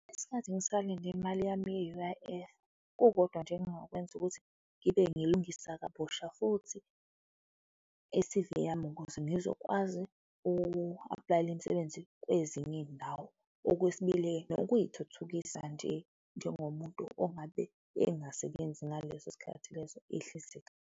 Ngesikhathi ngisalinde imali yami ye-U_I_F, kukodwa nje engingakwenza ukuthi ngibe ngilungisa kabusha futhi i-C_V yami ukuze ngizokwazi ukuapulayela imisebenzi kwezinye izindawo. Okwesibili-ke, nokuyithuthukisa nje njengomuntu ongabe engasebenzi ngaleso sikhathi leso ihlizika.